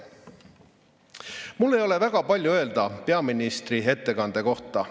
Mul ei ole väga palju öelda peaministri ettekande kohta.